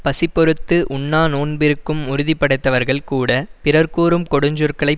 பசி பொறுத்து உண்ணாநோன்பு இருக்கும் உறுதி படைத்தவர்கள் கூட பிறர் கூறும் கொடுஞ்சொற்களை